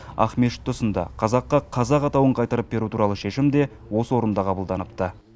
ақмешіт тұсында қазаққа қазақ атауын қайтарып беру туралы шешім де осы орында қабылданыпты